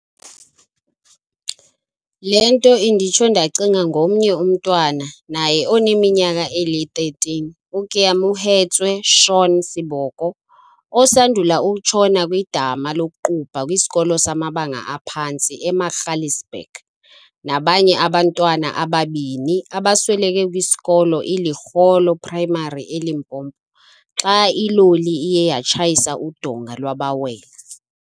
Le nto inditsho ndacinga ngomnye umntwana naye oneminyaka eli-13, uKeamohetswe Shaun Seboko, osandula ukutshona kwidama lokuqubha kwisikolo samabanga aphantsi eMagaliesburg, nabanye abantwana ababini abasweleke kwisikolo iLekgolo Primary eLimpopo xa iloli iye yatshayisa udonga lwabawela.